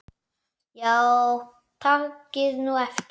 Já takið nú eftir.